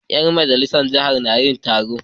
Ƴan majalisar jiha na yin taro.